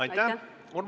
Aitäh!